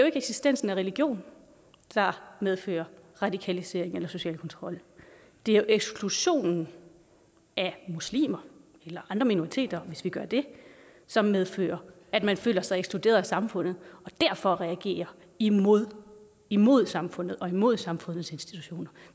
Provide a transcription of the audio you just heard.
ikke eksistensen af religion der medfører radikalisering eller social kontrol det er eksklusionen af muslimer eller andre minoriteter hvis vi gør det som medfører at man føler sig ekskluderet af samfundet og derfor reagerer imod imod samfundet og imod samfundets institutioner